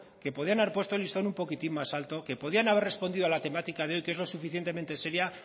que podrían haber puesto el listón un poquitín más alto que podrían haber respondido a la temática de hoy que es lo suficientemente seria